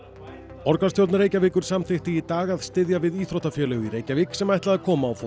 borgarstjórn Reykjavíkur samþykkti í dag að styðja við íþróttafélög í Reykjavík sem ætla að koma á fót